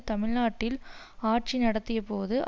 தமிழ்நாட்டில் ஆட்சி நடத்தியபோது